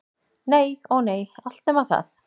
Nei- ó nei, allt nema það.